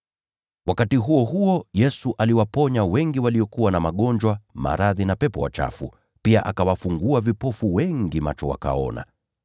Wakati huo huo, Yesu aliwaponya wengi waliokuwa na magonjwa, maradhi na pepo wachafu, na pia akawafungua vipofu wengi macho wakapata kuona.